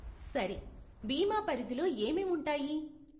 సరే, బీమా పరిధిలో ఏమేం ఉంటాయి?